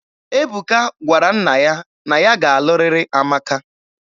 Ebuka gwara nna ya na ya ga-alụrịrị Amaka.